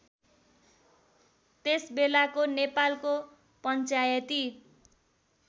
त्यसबेलाको नेपालको पञ्चायती